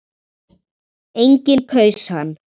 Enginn kaus hann.